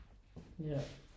Ja